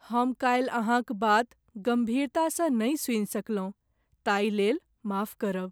हम काल्हि अहाँक बात गम्भीरतासँ नहि सुनि सकलहुँ ताहिलेल माफ करब।